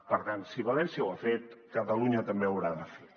per tant si valència ho ha fet catalunya també ho haurà de fer